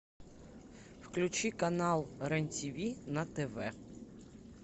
включи канал рен тв на тв